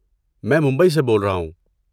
میں ممبئی سے بول رہا ہوں۔